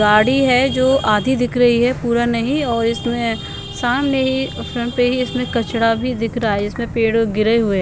गाड़ी है जो आधी दिख रही है पूरा नहीं और इसमें सामने ही फ्रंट पे ही इसमें कचड़ा भी दिख रहा है इसमें पेड़ गिरे हुए --